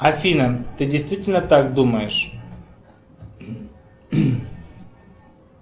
афина ты действительно так думаешь